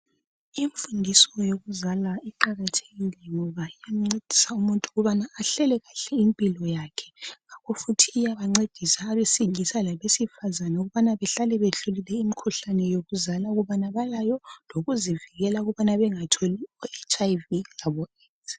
Imfundiso yokuzala iqakathekile ngoba iyamncedisa umuntu ukubana ahlele kahle impilo yakhe ngakho futhi iyabancedisa abesilisa labesifazana ukubana behlale behlolile imikhuhlane yokuzala ukubana balayo, lokuzivikela ukubana bengatholi iHIV laboAIDS.